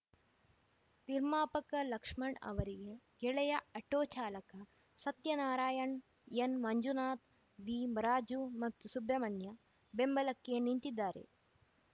ನಿರ್ಮಾಪಕ ಲಕ್ಷ್ಮಣ್‌ ಅವರಿಗೆ ಗೆಳೆಯ ಅಟೋ ಚಾಲಕ ಸತ್ಯನಾರಾಯಣ್‌ಎನ್‌ಮಂಜುನಾಥ್‌ವಿ ಮರಾಜು ಮತ್ತು ಸುಬ್ರಮಣ್ಯ ಬೆಂಬಲಕ್ಕೆ ನಿಂತಿದ್ದಾರೆ